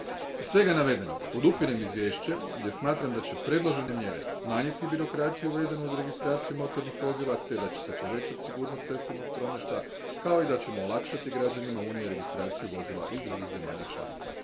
Iz svega navedenog podupirem izvješće jer smatram da će navedene mjere smanjiti birokraciju vezanu uz registraciju motornih vozila te da će se povećati sigurnost cestovnog prometa, kao i da ćemo olakšati građanima Unije registraciju vozila iz drugih zemalja članica.